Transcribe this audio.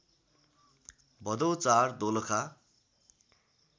Bhadau ४ Dolakha